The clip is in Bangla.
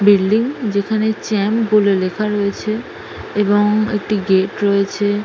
বিল্ডিং যেখানে চ্যাম্প বলে লেখা রয়েছে এবং একটি গেট রয়েছে।